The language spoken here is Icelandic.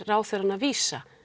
ráðherrann að vísa